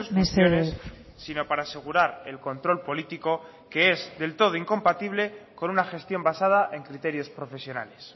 mesedez sino para asegurar el control político que es del todo incompatible con una gestión basada en criterios profesionales